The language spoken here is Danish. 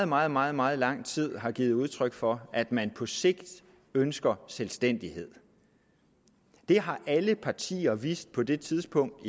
meget meget meget lang tid har givet udtryk for at man på sigt ønsker selvstændighed det har alle partier vidst på det tidspunkt